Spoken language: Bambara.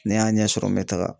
Ni n y'a ɲɛ sɔrɔ n bɛ taga.